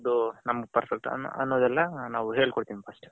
ಅದೇ ಯಾವ್ದು perfect ಅನ್ನೋದ್ ಎಲ್ಲಾ ನಾವು ಹೇಳಿಕೊಡ್ತಿವಿ first .